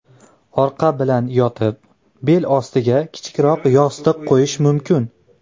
Orqa bilan yotib, bel ostiga kichikroq yostiq qo‘yish mumkin.